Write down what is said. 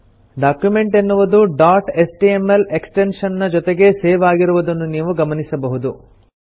document ಎನ್ನುವುದು dot HTML extension ನ ಜೊತೆಗೆ ಸೇವ್ ಆಗಿರುವುದನ್ನು ನೀವು ಗಮನಿಸಬಹುದು